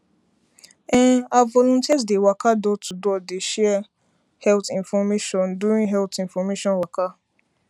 em ah volunteers dey waka door to door dey share health infomate during health information waka